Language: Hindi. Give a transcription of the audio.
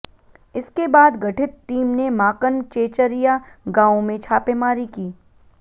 इसके बाद गठित टीम ने माकन चेचरिया गांव में छापेमारी की